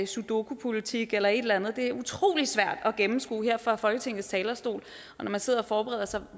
sudoku politik eller et eller andet det er utroligt svært at gennemskue her fra folketingets talerstol og når man sidder og forbereder sig